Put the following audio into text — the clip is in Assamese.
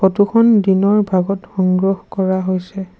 ফটো খন দিনৰ ভাগত সংগ্ৰহ কৰা হৈছে।